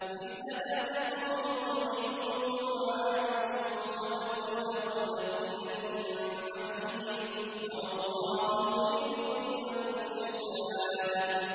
مِثْلَ دَأْبِ قَوْمِ نُوحٍ وَعَادٍ وَثَمُودَ وَالَّذِينَ مِن بَعْدِهِمْ ۚ وَمَا اللَّهُ يُرِيدُ ظُلْمًا لِّلْعِبَادِ